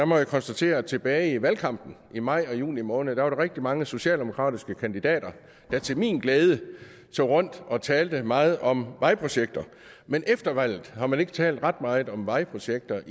må jeg konstatere at tilbage i valgkampen i maj og juni måned var der rigtig mange socialdemokratiske kandidater der til min glæde tog rundt og talte meget om vejprojekter men efter valget har man ikke talt ret meget om vejprojekter